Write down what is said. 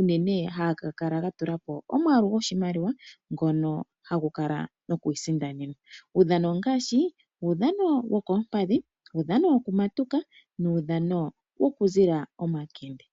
ngono haga kala ga tula po omwaalu goshimaliwa ngono hagu kala noku isindanenwa. Uudhano ongaashi uudhano wokoompadhi, uudhano woku matuka nuudhano woku zila omakende.